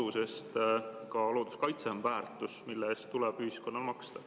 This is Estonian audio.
Sest ka looduskaitse on väärtus, mille eest tuleb ühiskonnal maksta.